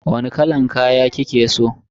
Wani kalan kaya kike so?